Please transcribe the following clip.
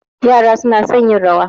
Yaran suna son yin rawa.